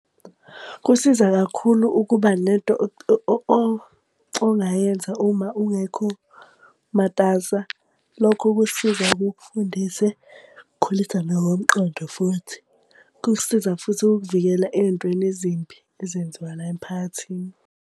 Kusiza kakhulu ukuba nento ongayenza uma ungekho matasa. Lokho kukusiza kukufundise, khulisa nokomqondo futhi. Kukusiza futhi ukukuvikela ey'ntweni ezimbi ezenziwa la emphakathini.